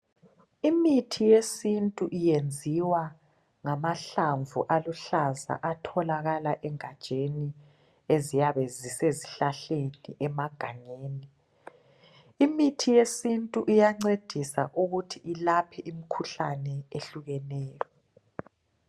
Imithi yesiNtu yenziwa ngamahlamvu aluhlaza atholakala egatsheni esiyabe zisezihlahleni emagangeni. Imithi yesiNtu iyancedisa ukuthi ilaphe imikhuhlane ehlukeneyo.